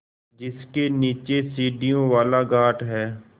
जिसके नीचे सीढ़ियों वाला घाट है